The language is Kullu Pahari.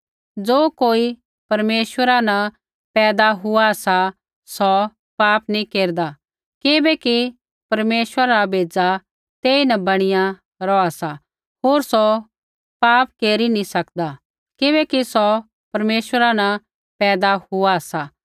ज़ो कोई परमेश्वरा न पैदा हुआ सा सौ पाप नैंई केरदा किबैकि परमेश्वरा रा बेज़ा तेईन बणीया रौहा सा होर सौ पाप केरी ही नैंई सकदा किबैकि सौ परमेश्वरा न पैदा हुआ सा